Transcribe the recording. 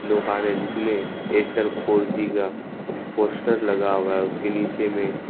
दुकान है जिसमें एयरटेल फोर जी का पोस्टर लगा हुआ है उसके नीचे में--